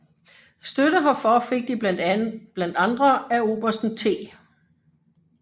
Støtte herfor fik de blandt andre af obersten T